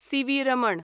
CV. Raman